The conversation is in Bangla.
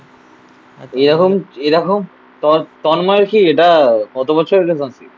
আচ্ছা এরকম এরকম তন্ময়ের কি এটা কত বছরের এরকম?